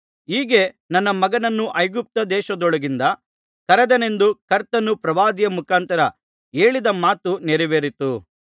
ಹೀಗೆ ನನ್ನ ಮಗನನ್ನು ಐಗುಪ್ತದೇಶದೊಳಗಿಂದ ಕರೆದೆನೆಂದು ಕರ್ತನು ಪ್ರವಾದಿಯ ಮುಖಾಂತರ ಹೇಳಿದ ಮಾತು ನೆರವೇರಿತು